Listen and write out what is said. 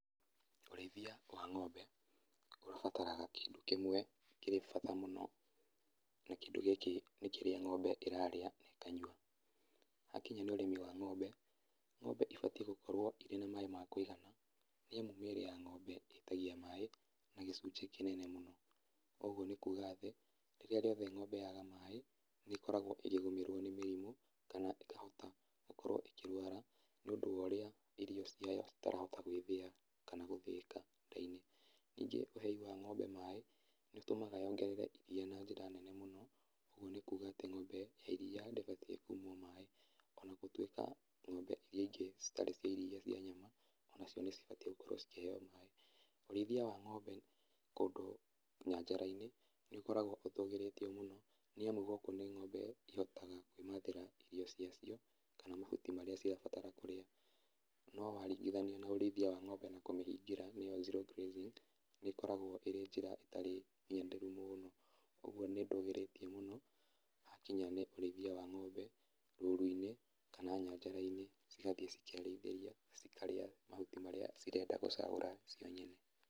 Ũrĩithia wa ng'ombe, ubataraga kĩndũ kĩmwe kĩrĩ bata, na kĩndũ gĩkĩ nĩ kĩrĩa ng'ombe ĩrarĩa, na ĩkanyua. Hakinya nĩ ũrĩmi wa ng'ombe, ng'ombe ĩbatiĩ gũkorwo ĩrĩ na maaĩ ma kũigana nĩamu mĩĩrĩ ya ng'ombe ĩtagia maaĩ na gĩcunjĩ kĩnene mũno. Kogwo nĩ kuuga ati rĩrĩa rĩothe ng'ombe yaaga maaĩ, nĩ ĩkoragwo ĩkĩgũmĩrwo nĩ mĩrimu, kana ĩkahota gũkorwo ĩkĩrwara nĩ ũndũ wa ũrĩa irio ciao itarahota gwĩthĩa kana gũthĩĩka nda-inĩ. Ningĩ ũhei wa ng'ombe maaĩ nĩ ũtũmaga yongerere iria na njĩra nene mũno. Ũguo nĩ kuga atĩ ng'ombe ga iria ndĩbatiĩ kũimwo maaĩ. Ona gũtwĩka ng'ombe iria ingĩ citarĩ cia iria, cia nyama, ona cio nĩ cibatiĩ gũkorwo cikĩheo maaĩ. Ũrĩithia wa ng'ombe kũndũ nyanjara-inĩ, nĩ ũkoragwo ũtũgĩrĩtio mũno, niamu gũkũ nĩ ng'ombe ihotaga kwĩmathĩra irio cia cio, kana mahuti marĩa cirabatara kũrĩa. No waringithania na ũrĩithia wa ng'ombe na kũmĩhingĩra, nĩyo zero grazing, nĩ ĩkoragwo ĩtarĩ mũno. Ũguo nĩ ndũgĩrĩtie mũno hakinya nĩ ũrĩithia wa ng'ombe rũru-inĩ, kana nyanjara-inĩ cigathiĩ cikerĩithĩria, na cikarĩa mahuti marĩa cirenda gũcagũra cio nyene.